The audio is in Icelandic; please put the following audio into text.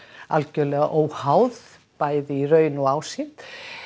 algjörlega óháð bæði í raun og ásýnd